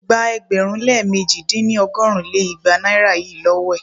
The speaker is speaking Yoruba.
Gba ẹgbẹ̀rún lé mẹ̀ji dín ní- ọgọ́rùn lé igba naira yìí lówó è!